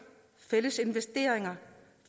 fælles investeringer